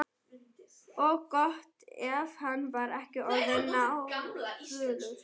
Og gott ef hann var ekki orðinn náfölur.